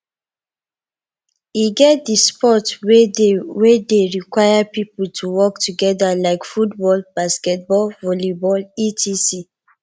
e get di sport wey de wey de require pipo to work together like football basketball volleyball etc